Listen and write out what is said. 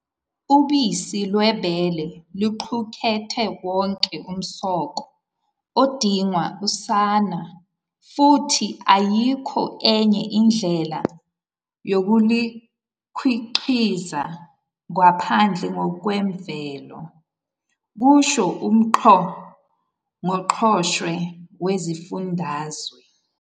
"Ubisi lwebele luqukethe wonke umsoco odingwa usana futhi ayikho enye indlela yokulukhiqiza ngaphandle kokwemvelo," kusho uNgqo ngqoshe Wesifundazwe.